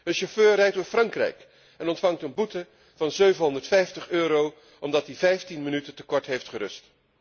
Een chauffeur rijdt door Frankrijk en krijgt een boete van 750 euro omdat hij 15 minuten te kort heeft gerust.